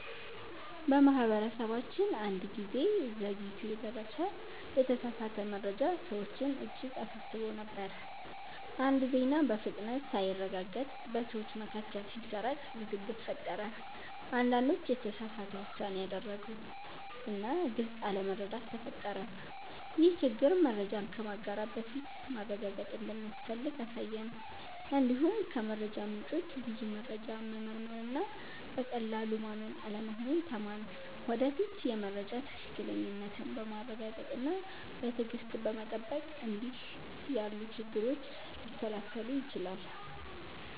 በማህበረሰባችን አንድ ጊዜ ዘግይቶ የደረሰ የተሳሳተ መረጃ ሰዎችን እጅግ አሳስቦ ነበር። አንድ ዜና በፍጥነት ሳይረጋገጥ በሰዎች መካከል ሲሰራጭ ውዝግብ ፈጠረ። አንዳንዶች የተሳሳተ ውሳኔ አደረጉ እና ግልጽ አለመረዳት ተፈጠረ። ይህ ችግር መረጃን ከማጋራት በፊት ማረጋገጥ እንደሚያስፈልግ አሳየን። እንዲሁም ከመረጃ ምንጮች ብዙ መረጃ መመርመር እና በቀላሉ ማመን አለመሆኑን ተማርን። ወደፊት የመረጃ ትክክለኛነትን በማረጋገጥ እና በትዕግሥት በመጠበቅ እንዲህ ያሉ ችግሮች ሊከላከሉ ይችላሉ።